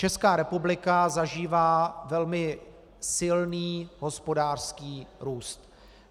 Česká republika zažívá velmi silný hospodářský růst.